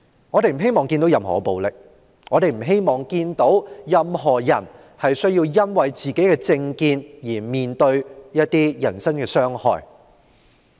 我們不希望看到任何暴力，亦不希望看到任何人因為自身政見而面對人身傷害。